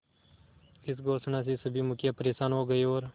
इस घोषणा से सभी मुखिया परेशान हो गए और